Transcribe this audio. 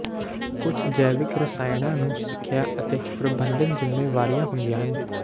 ਕੁਝ ਜੈਵਿਕ ਰਸਾਇਣਾਂ ਨੂੰ ਸਿੱਖਿਆ ਅਤੇ ਪ੍ਰਬੰਧਨ ਜ਼ਿੰਮੇਵਾਰੀਆਂ ਹੁੰਦੀਆਂ ਹਨ